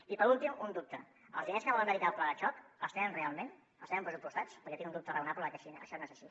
i per últim un dubte els diners que volen dedicar al pla de xoc els tenen real·ment els tenen pressupostats perquè tinc un dubte raonable de que això no és així